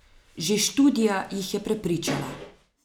Že študija jih je prepričala.